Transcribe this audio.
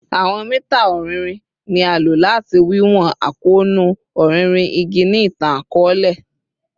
Awọn mita ọrinrin ni a lo lati wiwọn akoonu ọrinrin igi ni itan-akọọlẹ